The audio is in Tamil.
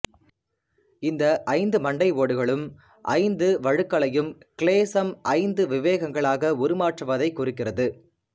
இந்த ஐந்து மண்டை ஓடுகளும் ஐந்து வழுக்களையும்கிலேசம் ஐந்து விவேகங்களாக உருமாற்றுவதைக் குறிக்கிறது